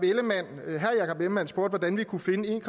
ellemann jensen spurgte hvordan vi kunne finde en